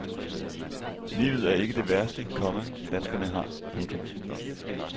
Livet er ikke det værste, komma danskerne har. punktum